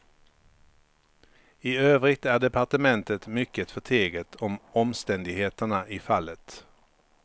I övrigt är departementet mycket förteget om omständigheterna i fallet.